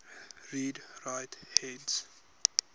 read write heads